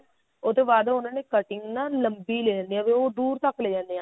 ਉਹ ਤੋਂ ਬਾਅਦ ਉਹਨਾ ਦੀ cutting ਨਾ ਲੰਬੀ ਲੈ ਜਾਂਦੇ ਆ ਵੀ ਦੂਰ ਤੱਕ ਲੈ ਜਾਂਦੇ ਆ